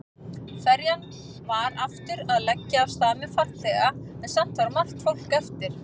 Ferjan var aftur að leggja af stað með farþega en samt var margt fólk eftir.